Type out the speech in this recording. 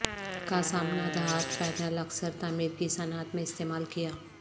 کا سامنا دھات پینل اکثر تعمیر کی صنعت میں استعمال کیا